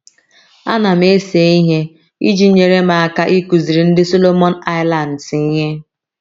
Ana m ese ihe iji nyere m aka ịkụziri ndị Solomon Islands ihe